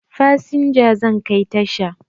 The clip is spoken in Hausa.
Fasinja zan kai tasha